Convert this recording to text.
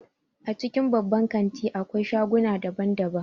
A cikin babban kanti akwai shaguna daban daban